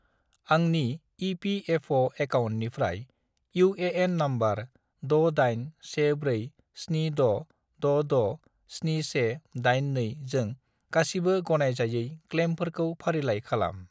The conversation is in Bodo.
आंनि इ.पि.एफ.अ'. एकाउन्टनिफ्राय इउ.ए.एन. नम्बर 681476667182 जों गासिबो गनायजायै क्लेइमफोरखौ फारिलाइ खालाम।